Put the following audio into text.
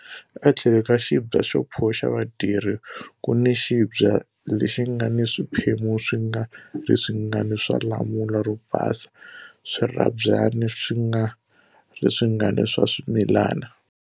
Etlhelo ka xibya xa pho xa vadyeri ku ni xibya lexi nga ni swiphemu swi nga ri swingani swa lamula ro basa, swirhabyani swi nga ri swingani swa swimilana,